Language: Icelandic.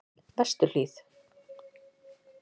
Vesturhlíð